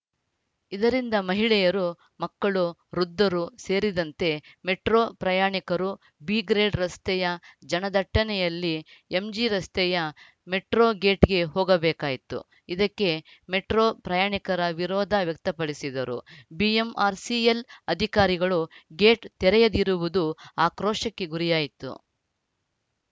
ಇದರಿಂದ ಮಹಿಳೆಯರು ಮಕ್ಕಳು ವೃದ್ಧರೂ ಸೇರಿದಂತೆ ಮೆಟ್ರೋ ಪ್ರಯಾಣಿಕರು ಬ್ರಿಗೇಡ್‌ ರಸ್ತೆಯ ಜನದಟ್ಟಣೆಯಲ್ಲಿ ಎಂಜಿರಸ್ತೆಯ ಮೆಟ್ರೋ ಗೇಟ್‌ಗೆ ಹೋಗಬೇಕಾಯಿತು ಇದಕ್ಕೆ ಮೆಟ್ರೋ ಪ್ರಯಾಣಿಕರ ವಿರೋಧ ವ್ಯಕ್ತಪಡಿಸಿದರೂ ಬಿಎಂಆರ್‌ಸಿಎಲ್‌ ಅಧಿಕಾರಿಗಳು ಗೇಟ್‌ ತೆರೆಯದಿರುವುದು ಆಕ್ರೋಶಕ್ಕೆ ಗುರಿಯಾಯಿತು